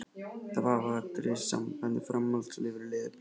Eina vafaatriðið í sambandi við framhaldslíf eru leðurblökur.